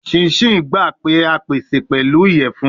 Chin chin gba pe a pese pẹlu iyẹfun